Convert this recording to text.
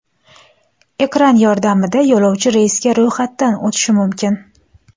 Ekran yordamida yo‘lovchi reysga ro‘yxatdan o‘tishi mumkin.